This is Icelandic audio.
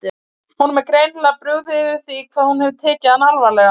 Honum er greinilega brugðið yfir því hvað hún hefur tekið hann alvarlega.